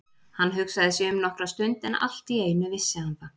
Hann hugsaði sig um nokkra stund en allt í einu vissi hann það.